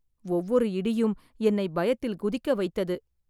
ஒவ்வொரு இடியும் என்னை பயத்தில் குதிக்க வைத்தது.